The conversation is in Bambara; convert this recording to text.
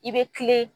I bɛ kile